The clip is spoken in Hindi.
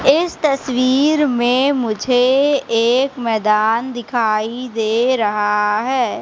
इस तस्वीर में मुझे एक मैदान दिखाई दे रहा है।